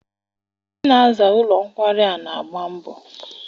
Ndị na-aza ụlọ nkwari a n'agba mbọ.